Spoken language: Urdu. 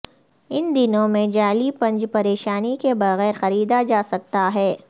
ان دنوں میں جعلی بنچ پریشانی کے بغیر خریدا جا سکتا ہے